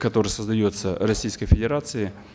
который создается российской федерацией